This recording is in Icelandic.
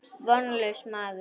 Vonlaus maður.